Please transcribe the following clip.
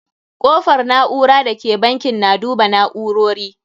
Kofar na'ura da ke bankin na duba na'urori.